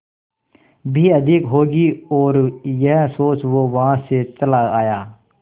भी अधिक होगी और यह सोच वो वहां से चला आया